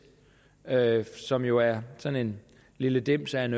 som jo er sådan en lille dims af en